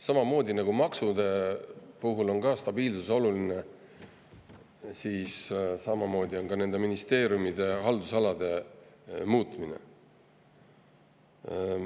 Samamoodi nagu maksude puhul on stabiilsus oluline, on ka ministeeriumide haldusalade puhul.